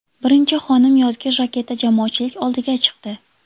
Birinchi xonim yozgi jaketda jamoatchilik oldiga chiqdi.